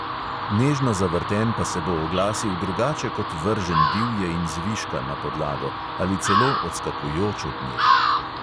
Nežno zavrten pa se bo oglasil drugače kot vržen divje in zviška na podlago ali celo odskakujoč od nje.